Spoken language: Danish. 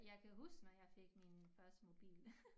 Jeg kan huske når jeg fik min første mobil